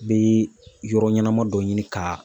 N bɛ yɔrɔ ɲɛnama dɔ ɲini ka